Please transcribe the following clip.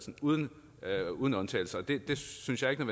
uden uden undtagelse og det synes jeg ikke